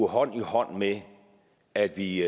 hånd i hånd med at vi